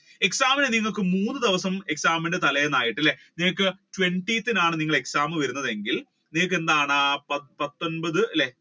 exam നിങ്ങൾക്ക് മൂന്ന് ദിവസം exam ന്റെ തല്ലെന്നായിട്ട് അല്ലെ twentieth ത്തിനാണ് വരുന്നതെങ്കിൽ date എന്താണ് പത്തൊൻപത് അല്ലെ